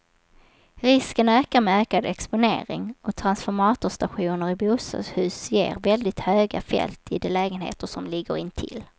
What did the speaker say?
Risken ökar med ökad exponering, och transformatorstationer i bostadshus ger väldigt höga fält i de lägenheter som ligger intill.